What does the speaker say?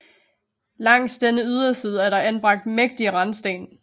Langs denne yderside er der anbragt mægtige randsten